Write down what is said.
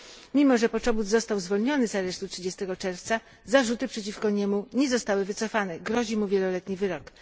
Mimo że Poczobut został zwolniony z aresztu 30 czerwca, zarzuty przeciwko niemu nie zostały wycofane, grozi mu wieloletni wyrok.